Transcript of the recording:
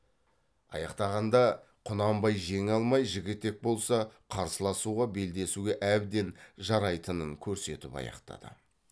аяқтағанда құнанбай жеңе алмай жігітек болса қарсыласуға белдесуге әбден жарайтынын көрсетіп аяқтады